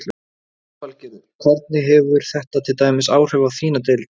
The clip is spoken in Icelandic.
Lillý Valgerður: Hvernig hefur þetta til dæmis áhrif á þína deild?